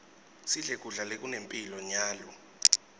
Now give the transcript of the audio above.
sidle kudla lokunemphilo nyalo